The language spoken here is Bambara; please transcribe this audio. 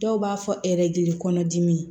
Dɔw b'a fɔ kɔnɔdimi